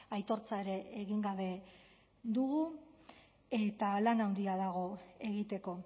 aitortza ere egin gabe dugu eta lan handia dago egiteko